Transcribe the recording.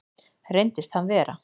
Reyndist hann vera